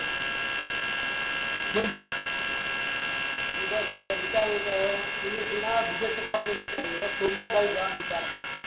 બીજા ફરવા વિચારુ છે હવે એક શ્રીનાથ બીજા શ્ર્ધાલું વિસ્તાર છે હવે સોમનાથ ખાલી જવાનું વિચાર છે